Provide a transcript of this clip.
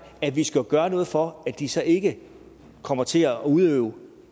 at vi skal gøre noget for at de så ikke kommer til at udøve